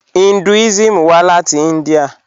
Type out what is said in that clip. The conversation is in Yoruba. Hinduism wà láti India.